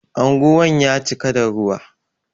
Anguwan ya cika da ruwa.